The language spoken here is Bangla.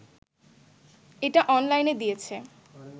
এটা অনলাইনে দিয়েছে